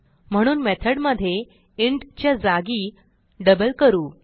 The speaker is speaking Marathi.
म्हणून मेथडमधे इंट च्या जागी डबल करू